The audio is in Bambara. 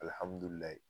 Alihamudulila